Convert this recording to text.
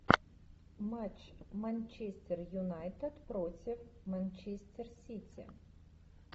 матч манчестер юнайтед против манчестер сити